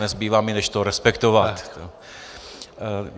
Nezbývá mi, než to respektovat.